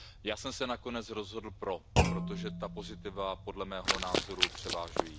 Já jsem se nakonec rozhodl pro, protože ta pozitiva podle mého názoru převažují.